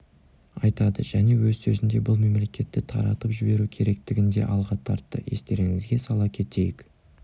айтады және өз сөзінде бұл мемлекетті таратып жіберу керектігін де алға тартты естеріңізге сала кетейік